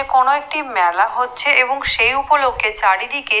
কোনও একটি মেলা হচ্ছে এবং সেই উপলক্ষে চারিদিকে--